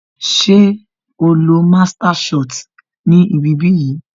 Ṣé o lọ master shot ni ibi bí yìí